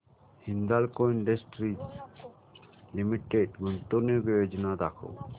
Hindalco industries limited गुंतवणूक योजना दाखव